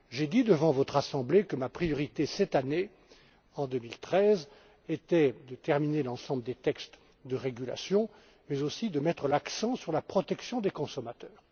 J'ai dit devant votre Assemblée que ma priorité, cette année, en 2013, était de terminer l'ensemble des textes de régulation mais aussi de mettre l'accent sur la protection des consommateurs.